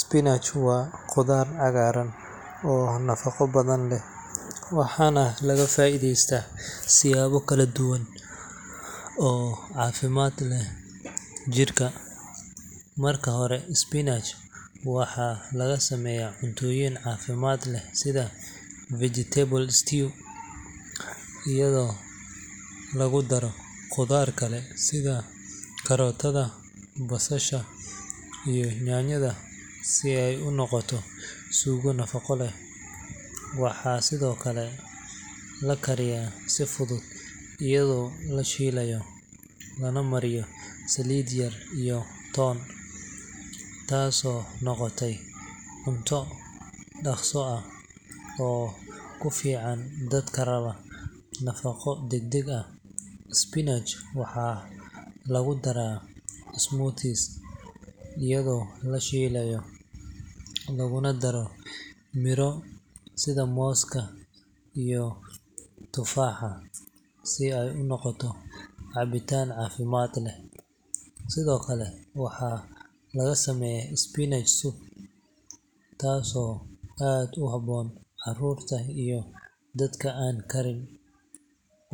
Spinach waa khudaar cagaaran oo nafaqo badan leh, waxaana laga faa’iideystaa siyaabo kala duwan oo caafimaad u leh jidhka. Marka hore, spinach waxaa laga sameeyaa cuntooyin caafimaad leh sida vegetable stew, iyadoo lagu daro khudaar kale sida karootada, basasha iyo yaanyada si ay u noqoto suugo nafaqo leh. Waxaa sidoo kale la kariyaa si fudud iyadoo la shiilayo, lana mariyo saliid yar iyo toon, taasoo noqota cunto dhakhso ah oo ku fiican dadka raba nafaqo degdeg ah. Spinach waxaa lagu daraa smoothie, iyadoo la shiido laguna daro miraha sida mooska iyo tufaaxa si ay u noqoto cabitaan caafimaad leh. Sidoo kale, waxaa laga sameeyaa spinach soup, taasoo aad ugu habboon carruurta iyo dadka aan karin